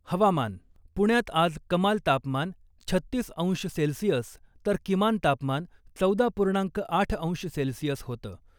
हवामान, पुण्यात आज कमाल तापमान छत्तीस अंश सेल्सिअस तर किमान तापमान चौदा पूर्णांक आठ अंश सेल्सिअस होतं .